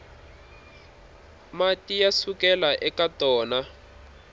mati ya sukelaka eka tona